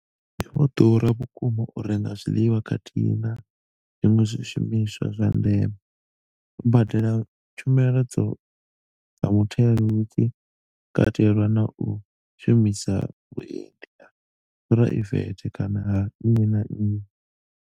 Zwi vho ḓura vhukuma u renga zwiḽiwa khathihi na zwiṅwe zwi shumiswa zwa ndeme, u badela tshumelo dza mutheo hu tshi katelwa na u shumisa vhuendi ha phuraivethe kana ha nnyi na nnyi.